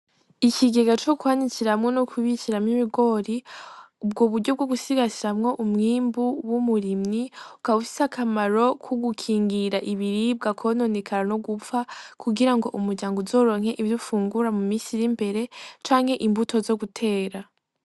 Ikigega cokwanikiramwo nokubikiramwo ibigori ubwoburyo bwogusigasiramwo umwimbu w'umurimyi ukaba ufise akamaro kugukingira ibiribwa kwononekara nogupfa kugirango umuryango uzoronke ivyo ufungura mumisi irimbere canke imbuto zogutera.